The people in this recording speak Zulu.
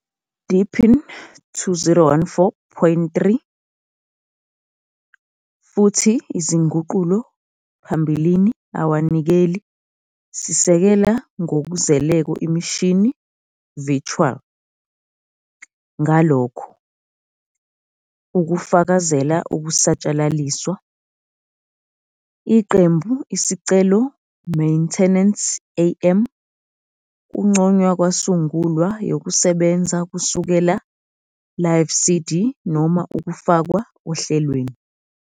Deepin 2014,3 futhi izinguqulo phambilini awanikeli sisekela ngokuzeleko imishini virtual, ngalokho, ukufakazela ukusatshalaliswa, iqembu Isicelo Maintenance, AM, Kunconywa kwasungulwa yokusebenza kusukela Live CD noma ukufakwa ohlelweni.